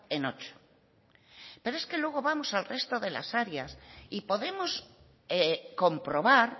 en ocho pero es que luego vamos al resto de las áreas y podemos comprobar